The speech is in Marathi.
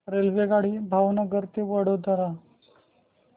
रेल्वेगाडी भावनगर ते वडोदरा